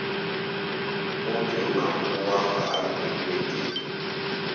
go thwemakgowa ga a loiweke